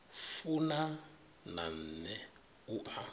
funa na nṋe u a